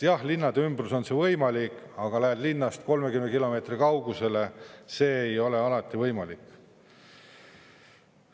Jah, linnade ümbruses on see võimalik, aga kui lähed linnast 30 kilomeetri kaugusele, siis see ei ole alati võimalik.